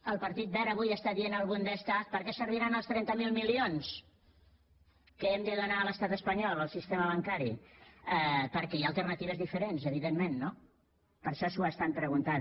el partit verd avui està dient avui al bundestag per què serviran els trenta miler milions que hem de donar a l’estat espanyol al sistema bancari perquè hi ha alternatives diferents evidentment no per això s’ho estan preguntant